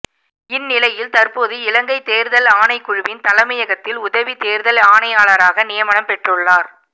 இந்நிலையில் தற்போது இலங்கை தேர்தல் ஆணைக்குழுவின் தலைமையகத்தில் உதவி தேர்தல் ஆணையாளராக நியமனம் பெற்றுள்ளார்